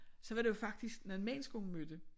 Så var det jo faktisk nogle mennesker hun mødte